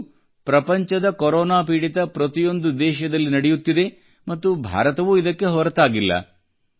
ಇದು ಪ್ರಪಂಚದ ಕೊರೊನಾ ಪೀಡಿತ ಪ್ರತಿಯೊಂದು ದೇಶದಲ್ಲಿ ನಡೆಯುತ್ತಿದೆ ಮತ್ತು ಭಾರತವೂ ಇದಕ್ಕೆ ಹೊರತಾಗಿಲ್ಲ